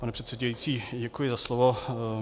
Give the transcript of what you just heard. Pane předsedající, děkuji za slovo.